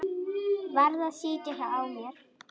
Varð að sitja á mér.